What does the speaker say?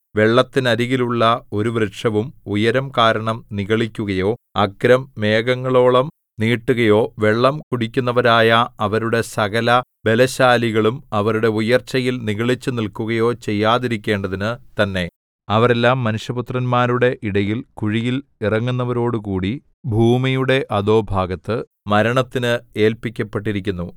വെള്ളത്തിനരികിലുള്ള ഒരു വൃക്ഷവും ഉയരം കാരണം നിഗളിക്കുകയോ അഗ്രം മേഘങ്ങളോളം നീട്ടുകയോ വെള്ളം കുടിക്കുന്നവരായ അവരുടെ സകലബലശാലികളും അവരുടെ ഉയർച്ചയിൽ നിഗളിച്ചു നില്‍ക്കുകയോ ചെയ്യാതിരിക്കേണ്ടതിനു തന്നെ അവരെല്ലാം മനുഷ്യപുത്രന്മാരുടെ ഇടയിൽ കുഴിയിൽ ഇറങ്ങുന്നവരോടുകൂടി ഭൂമിയുടെ അധോഭാഗത്ത് മരണത്തിന് ഏല്പിക്കപ്പെട്ടിരിക്കുന്നു